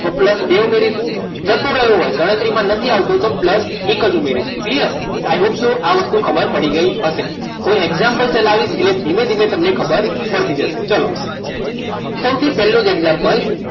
તો plus બે ઉમેરવાનું જતો રહ્યો હોય ગણતરીમાં નથી આવતો તો plus એક જ ઉમેરીશું clear ને i hope આ વસ્તુ ખબર પડી ગઈ હશે હવે example ચલાવીશ એટલે ધીમે ધીમે તમને ખબર પડી જશે ચલો સૌથી પહેલું જ example